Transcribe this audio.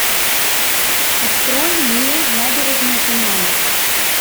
открой мне набережная туманов